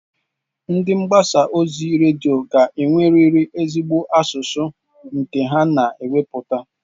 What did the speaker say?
Ndị mgbasa ozi redio ga-enwerịrị ezigbo asụsụ nke ha na-ewepụta.